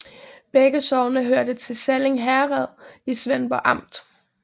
Begge sogne hørte til Sallinge Herred i Svendborg Amt